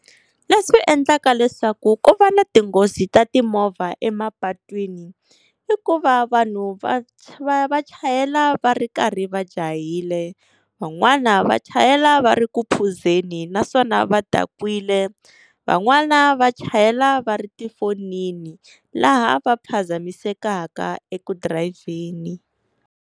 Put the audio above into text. Leswi endlaka leswaku ku va na tinghozi ta timovha emapatwini, i ku va vanhu va vamva chayela va ri karhi va jahile, van'wana va chayela va ri ku phuzeni naswona va dakwile. Van'wana va chayela va ri tifonini laha va phazamisekaka eku dirayivheni.